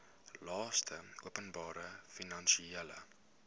laste openbare finansiële